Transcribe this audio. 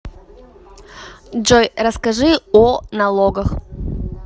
джой расскажи о налогах